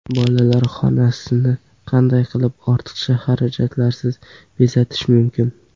Bolalar xonasini qanday qilib ortiqcha xarajatlarsiz bezatish mumkin?.